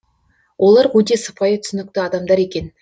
олар өте сыпайы түсінікті адамдар екен